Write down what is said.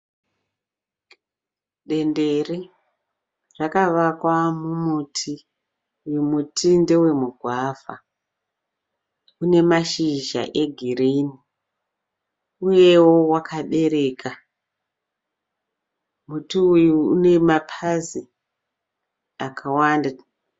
Dendere rakawakwa mumuti muti ndewemugwavha une mashizha egirini uyewo akabereka muti uyu unemapazi akawanda